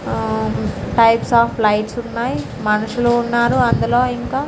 ఆ types of lights ఉన్నాయి. మనుషులు ఉన్నారు అందులో ఇంకా.